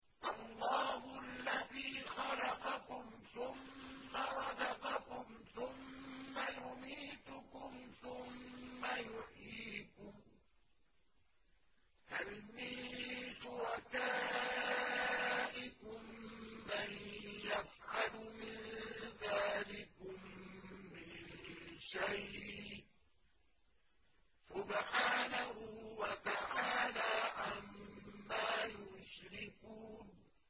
اللَّهُ الَّذِي خَلَقَكُمْ ثُمَّ رَزَقَكُمْ ثُمَّ يُمِيتُكُمْ ثُمَّ يُحْيِيكُمْ ۖ هَلْ مِن شُرَكَائِكُم مَّن يَفْعَلُ مِن ذَٰلِكُم مِّن شَيْءٍ ۚ سُبْحَانَهُ وَتَعَالَىٰ عَمَّا يُشْرِكُونَ